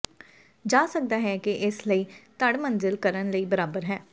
ਜਾ ਸਕਦਾ ਹੈ ਕਿ ਇਸ ਲਈ ਧੜ ਮੰਜ਼ਿਲ ਕਰਨ ਲਈ ਬਰਾਬਰ ਹੈ